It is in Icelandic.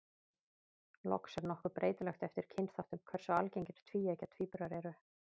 Loks er nokkuð breytilegt eftir kynþáttum hversu algengir tvíeggja tvíburar eru.